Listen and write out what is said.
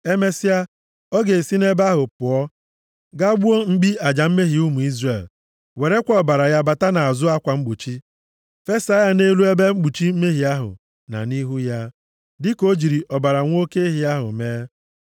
“Emesịa, ọ ga-esi nʼebe ahụ pụọ gaa gbuo mkpi aja mmehie ụmụ Izrel, werekwa ọbara ya bata nʼazụ akwa mgbochi fesa ya nʼelu ebe mkpuchi mmehie ahụ, na nʼihu ya, dịka o jiri ọbara nwa oke ehi ahụ mee.